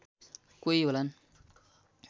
कोही होलान्